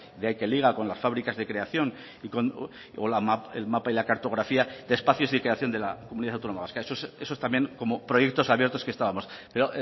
que liga con las fábricas de creación y con el mapa y la cartografía de espacios de iteración de la comunidad autónoma vasca eso también como proyectos abiertos que estábamos pero